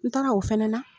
N taara o fɛnɛ na